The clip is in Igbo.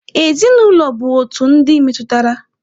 Ezinụlọ bụ otu ndị metụtara.